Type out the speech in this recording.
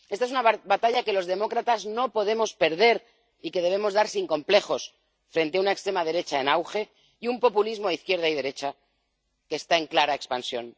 Esta es una batalla que los demócratas no podemos perder y que debemos dar sin complejos frente a una extrema derecha en auge y un populismo de izquierda y derecha que está en clara expansión.